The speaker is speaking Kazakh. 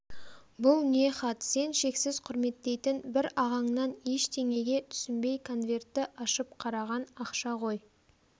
бұл не хат сен шексіз құрметтейтін бір ағаңнан ештеңеге түсінбей конвертті ашып қараған ақша ғой